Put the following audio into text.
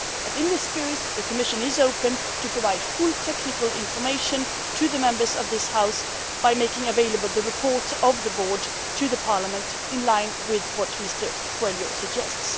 But in this spirit, the Commission is open to providing full technical information to the Members of this House by making available the reports of the board to Parliament, in line with what Mr Coelho suggests.